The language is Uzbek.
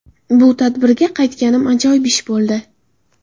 Bu tadbirga qaytganim ajoyib ish bo‘ldi”.